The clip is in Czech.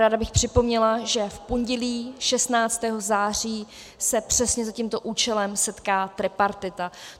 Ráda bych připomněla, že v pondělí 16. září se přesně za tímto účelem setká tripartita.